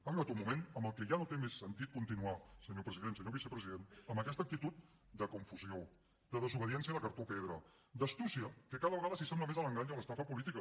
ha arribat un moment en el que ja no té més sentit continuar senyor president senyor vicepresident amb aquesta actitud de confusió de desobediència de cartró pedra d’astúcia que cada vegada s’assembla més a l’engany i a l’estafa política